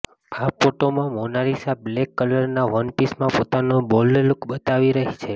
આ ફોટોમાં Mona Lisa black કલરના વન પીસમાં પોતાનો બોલ્ડ લુક બતાવી રહી છે